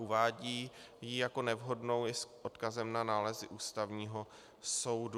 Uvádí ji jako nevhodnou i s odkazem na nálezy Ústavního soudu.